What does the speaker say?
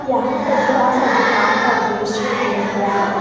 यहां पर बड़ा सा दुकान का दृश्य दिख रहा है।